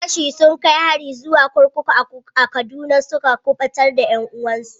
Yan fashi sun kai hari zuwa kurkuku a Kaduna suka kubutar da 'yan uwansu.